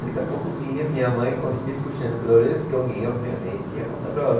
Daqui a pouco vinha a minha mãe com, me puxando pela orelha, porque alguém, obviamente, ia contar para ela.